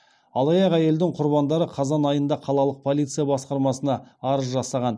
алаяқ әйелдің құрбандары қазан айында қалалық полиция басқармасына арыз жасаған